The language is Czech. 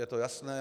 Je to jasné.